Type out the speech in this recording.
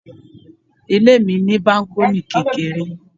Ilé mi ní bákọ́nì kékeré